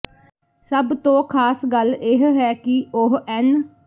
ਸਭ ਤੋਂ ਖਾਸ ਗੱਲ ਇਹ ਹੈ ਕਿ ਉਹ ਐੱਨ